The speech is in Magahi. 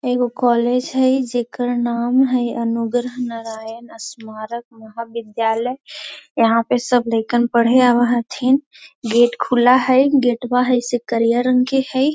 एगो कॉलेज हई जेकर नाम हई अनुग्रह नारायण स्मारक महाविद्यालय। यहाँ पे सब लईकन पढ़े आव हथीन गेट खुला हई गेटवा हई से करिया रंग के हई।